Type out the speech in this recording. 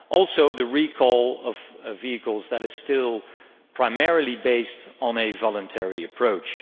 Also the recall of vehicles, that is still primarily based on a voluntary approach.